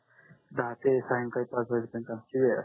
दहा ते सायंकडी पाच वाजे पर्यन्त आमची वेळ असते